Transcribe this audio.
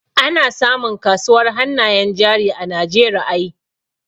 Ana samun kasuwar hannayen jari a Najeriay